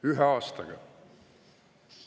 Ühe aastaga!